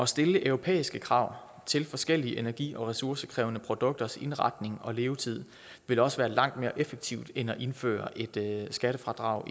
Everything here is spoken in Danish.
stille europæiske krav til forskellige energi og ressourcekrævende produkters indretning og levetid vil også være langt mere effektivt end at indføre et skattefradrag